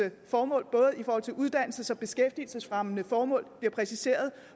formål både i forhold til uddannelse og beskæftigelsesfremmende formål bliver præciseret